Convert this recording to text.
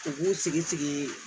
U b'u sigi sigi